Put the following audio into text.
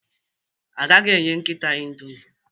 Agaghị enye nkịta Indomie